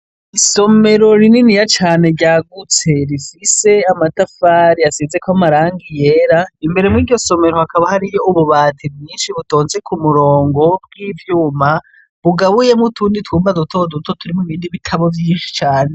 Isomero rinininya cane ryagutse rifise amatafari asizeko amarangi yera, imbere mw' iryo somero hakaba harimwo ububati bwinshi bitonze ku murongo bw' ivyuma, bugabuyemwo utundi twuma duto duto turimwo ibindi bitabo vyinshi cane.